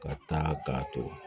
Ka taa k'a ton